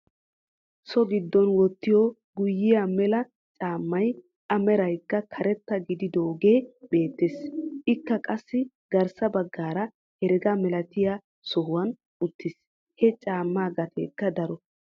So giddon wottiyoo guyyiyaa mela caammay a meraykka karetta gididoogee beettees. ikka qassi garssa baggaara herega milatiyaa sohuwaan uttiis. ha caammeegaateekka daro.